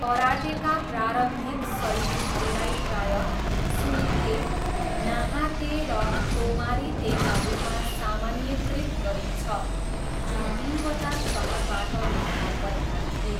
Karateka प्रारम्भिक शैलीहरूलाई प्रायः सुरी ते, नाहा ते र तोमारी तेका रूपमा सामान्यीकृत गरिन्छ, जुन तिनवटा सहरबाट देखा परेका थिए।